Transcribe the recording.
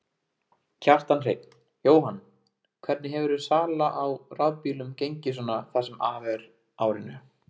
Kjartan Hreinn: Jóhann, hvernig hefur sala á rafbílum gengið svona það sem af er árinu?